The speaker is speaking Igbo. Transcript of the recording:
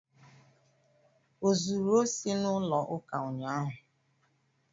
O zuru osi n'ụlọ ụka unyaahụ?